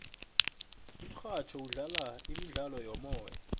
umurhatjho udlala imidlalo yomoya